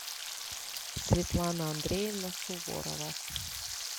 светлана андреевна суворова